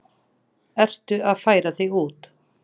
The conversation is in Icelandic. Ertu að færa þig út?